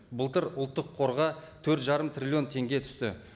былтыр ұлттық қорға төрт жарым триллион теңге түсті